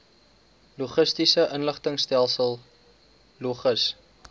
logistiese inligtingstelsel logis